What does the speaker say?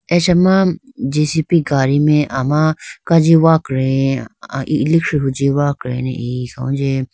Achama jcb gadi mai ama kaji wakre a ilikhi huji wakrey ne iyi khawunji.